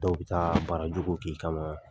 Dɔw bɛ taa baara jugu k'i kama,